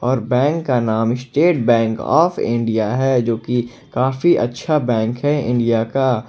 और बैंक का नाम स्टेट बैंक आफ इंडिया है जो की काफी अच्छा बैंक है इंडिया का।